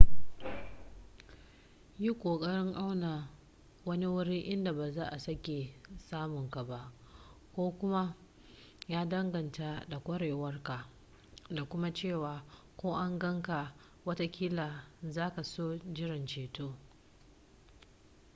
yi ƙoƙarin auna wani wuri inda ba za a sake samun ka ba ko kuma ya danganta da ƙwarewarka da kuma cewa ko an gan ka watakila za ka so jiran ceto